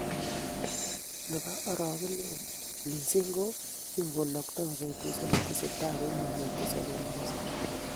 Nebo arogenet missing ko kingonoktoi betusiek kotesetai koimenitu sobet missing.